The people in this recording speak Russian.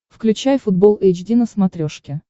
включай футбол эйч ди на смотрешке